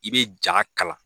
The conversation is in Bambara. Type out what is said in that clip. I bɛ ja kalan